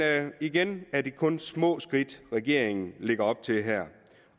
igen er det kun små skridt regeringen lægger op til her